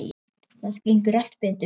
Það gengur allt betur þannig.